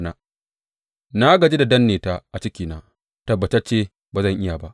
Na gaji da danne ta a cikina; tabbatacce ba zan iya ba.